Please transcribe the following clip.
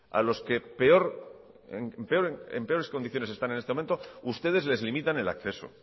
a los que en peores condiciones están en este momento ustedes les limitan el acceso